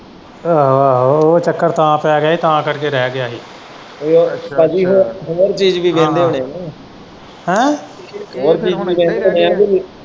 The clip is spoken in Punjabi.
ਆਹੋ ਆਹੋ ਉਹ ਚੱਕਰ ਤਾਂ ਪੈ ਗਿਆ ਸੀ ਤਾਂ ਕਰਕੇ ਰਹਿ ਗਿਆ ਸੀ ਹੋਰ ਬਾਕੀ ਹੋਰ ਹੋਰ ਚੀਜ ਵੀ ਕਹਿੰਦੇ ਹੋਣੇ ਨਾ ਹਾਂ ਹੈਂ ਹੋਰ ਚੀਜ ਵੀ ਕਹਿੰਦੇ ਹੋਣੇ